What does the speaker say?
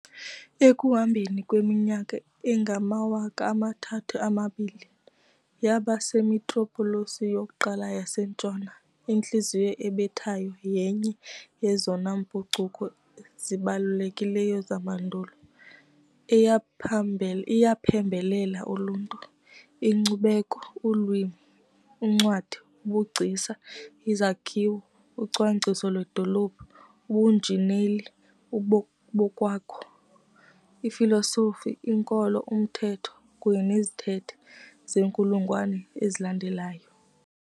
Ekuhambeni kweminyaka engamawaka amathathu amabili, yaba simetropolis yokuqala yaseNtshona, intliziyo ebethayo yenye yezona mpucuko zibalulekileyo zamandulo, iyaphembelela uluntu, inkcubeko, ulwimi, uncwadi, ubugcisa, izakhiwo, ucwangciso lwedolophu, ubunjineli bokwakha, ifilosofi, inkolo, umthetho kunye nezithethe zeenkulungwane ezilandelayo.